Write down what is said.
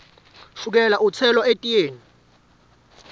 shukela utselwa etiyeni